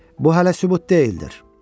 Bu hələ sübut deyildir.